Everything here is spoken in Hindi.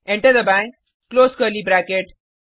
एंटर दबाएँ क्लोज कर्ली ब्रैकेट